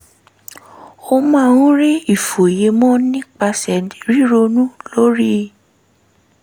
ó máa ń rí ìfòyemọ̀ nípasẹ̀ ríronú lórí